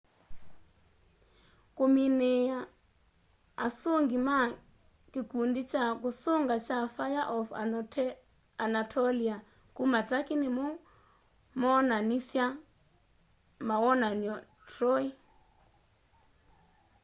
kũmĩnĩĩa asũngĩ ma kikundi kya kusunga kya fĩre of anatolĩa kuma turkey nĩmo moonanĩsya mawonanyo troy